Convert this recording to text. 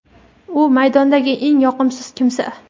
u maydondagi eng yoqimsiz kimsa;.